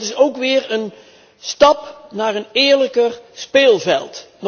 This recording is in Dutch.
Dat is ook weer een stap naar een eerlijker speelveld.